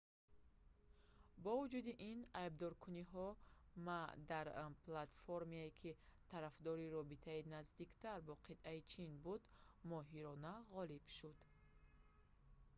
бо вуҷуди ин айбдоркуниҳо ма дар платформае ки тарафдори робитаи наздиктар бо қитъаи чин буд моҳирона ғолиб шуд